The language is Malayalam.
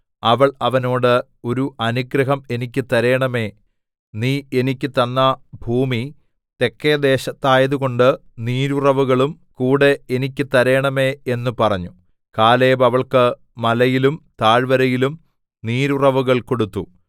അവൾ അവനോട് ഒരു അനുഗ്രഹം എനിക്ക് തരേണമേ നീ എനിക്ക് തന്ന ഭൂമി തെക്കെ ദേശത്തായതുകൊണ്ട് നീരുറവുകളും കൂടെ എനിക്ക് തരേണമേ എന്ന് പറഞ്ഞു കാലേബ് അവൾക്ക് മലയിലും താഴ്വരയിലും നീരുറവുകൾ കൊടുത്തു